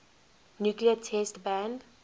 nuclear test ban